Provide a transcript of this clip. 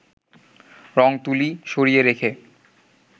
রঙ-তুলি সরিয়ে রেখে